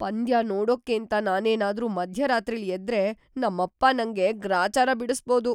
ಪಂದ್ಯ ನೋಡಕ್ಕೇಂತ ನಾನೇನಾದ್ರೂ ಮಧ್ಯರಾತ್ರಿಲ್ ಎದ್ರೆ‌ ನಮ್ಮಪ್ಪ ನಂಗೆ ಗ್ರಾಚಾರ ಬಿಡಿಸ್ಬೋದು.